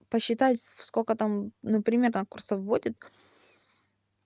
посчитать сколько там например там курсов будет